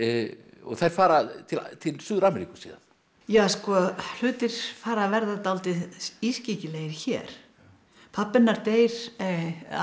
og þær fara til Suður Ameríku síðan ja sko hlutir fara að verða dálítið ískyggilegir hér pabbi hennar deyr afi